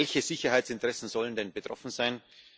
Welche Sicherheitsinteressen sollen denn betroffen sein?